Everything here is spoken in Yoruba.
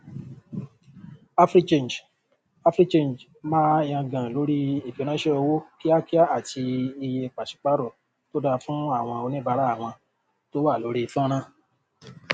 africhange africhange máa yangàn lórí ìfiránṣẹ owó kíákíá àti iye pàṣípàrọ tó da fún àwọn oníbàárà wọn tó wà lórí fọnrán